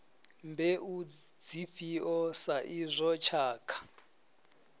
mbeu dzifhio sa izwo tshakha